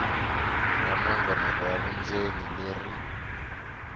ra nongonoko wa vundzeni leri